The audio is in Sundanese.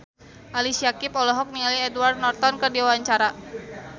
Ali Syakieb olohok ningali Edward Norton keur diwawancara